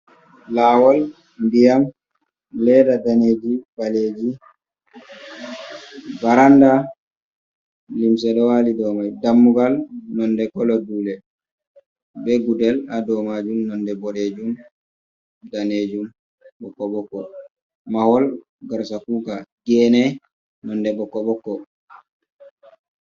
Lawol, ndiyam, leda daneji, baleji. Baranda, limse ɗo wali dou mai, dammugal nonde kolo dule be gudel haa dou maajum nonde boɗejum, danejum, ɓokko-ɓokko. Mahol, garsa kuka. Gene, nonde ɓokko-ɓokko